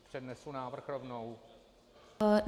Přednesu návrh rovnou?